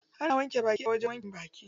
Ana wanke baki a wajen wankin baki.